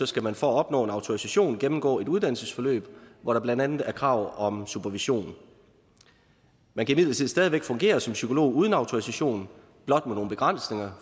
skal man for at opnå en autorisation gennemgå et uddannelsesforløb hvor der blandt andet er krav om supervision man kan imidlertid stadig væk fungere som psykolog uden autorisation blot med nogle begrænsninger